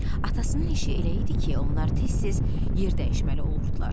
Atasının işi elə idi ki, onlar tez-tez yer dəyişməli olurdular.